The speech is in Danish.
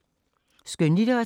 Skønlitteratur